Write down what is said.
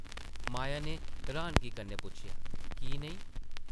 माया नै र्हानगी कन्नै पुच्छेआ, ‘‘की नेईं?’’